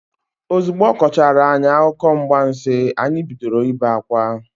Ozugbo ọ kọchaara anyị akụkọ mgbansi, anyị bidoro ibe akwa.